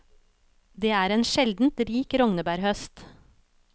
Det er en sjeldent rik rognebærhøst.